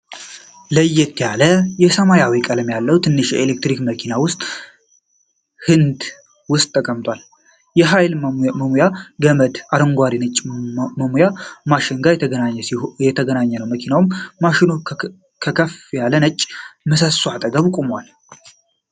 ለየት ያለ የሰማያዊ ቀለም ያለው ትንሽ የኤሌክትሪክ መኪና የውስጥ ሕንጻ ውስጥ ተቀምጧል። የኃይል መሙያ ገመድ ከአረንጓዴና ነጭ መሙያ ማሽን ጋር የተገናኘ ነው። መኪናውና ማሽኑ ከከፍ ያለ ነጭ ምሰሶ አጠገብ ቆመዋል።